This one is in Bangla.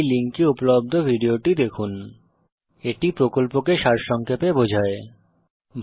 এই লিঙ্কে উপলব্ধ ভিডিওটি দেখুন spoken tutorialorgভাট আইএস a spoken টিউটোরিয়াল এটি কথ্য টিউটোরিয়াল প্রকল্পকে সারসংক্ষেপে বোঝায়